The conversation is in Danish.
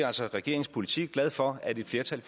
altså regeringens politik glad for at et flertal i